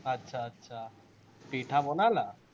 আটচা আটচা, পিঠা বনালা?